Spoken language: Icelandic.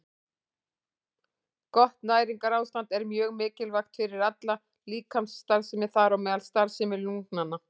Gott næringarástand er mjög mikilvægt fyrir alla líkamsstarfsemi, þar á meðal starfsemi lungnanna.